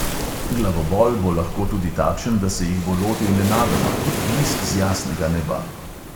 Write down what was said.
Glavobol bo lahko tudi takšen, da se jih bo lotil nenadoma, kot blisk z jasnega neba.